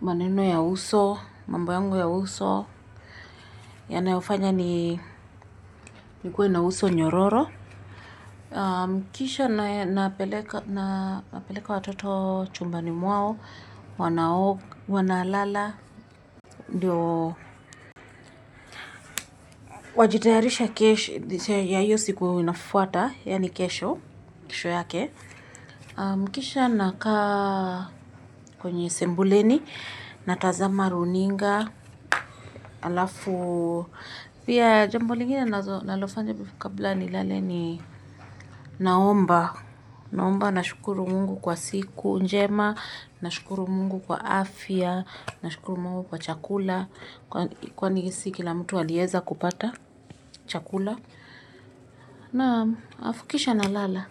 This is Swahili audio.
maneno ya uso mambo yangu ya uso yanayofanya nikuwe na uso nyororo kisha napeleka watoto chumbani mwao wanalala, wajitayarishe kesho yake kisha nakaa kwenye sebuleni, natazama runinga, alafu, pia jambo lingine nalofanya kabla ni lale ni naomba. Naomba na shukuru mungu kwa siku njema, na shukuru mungu kwa afya, na shukuru mungu kwa chakula kwa nisi kila mtu waliyeza kupata chakula naam afukisha na lala.